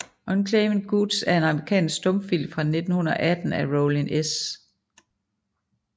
Unclaimed Goods er en amerikansk stumfilm fra 1918 af Rollin S